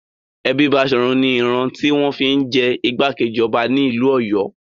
Ẹbí Baṣọ̀run ni ìran tí wọ́n fi ń jẹ ìgbákejì ọba nílùú Ọ̀yọ́.